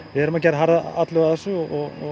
við erum að gera harða atlögu að þessu og